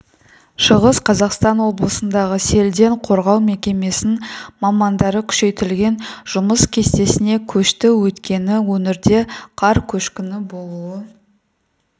шығыс қазақстан облысындағы селден қорғау мекемесінің мамандары күшейтілген жұмыс кестесіне көшті өйткені өңірде қар көшкіні болуы